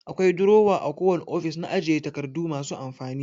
Akwai durowa a kowane ofis na ajiye takardu masu amfani.